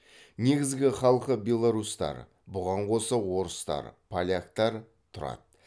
негізгі халқы беларустар бұған қоса орыстар поляктар тұрады